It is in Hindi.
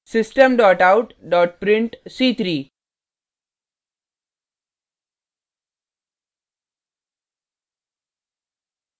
system out print c3;